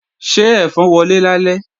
Ṣé ẹ̀fọn wọlé lálẹ́?